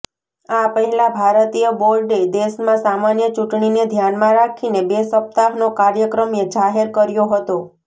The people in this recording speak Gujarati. આ પહેલા ભારતીય બોર્ડે દેશમાં સામાન્ય ચૂંટણીને ધ્યાનમાં રાખીને બે સપ્તાહનો કાર્યક્રમ જાહેર કર્યો હતો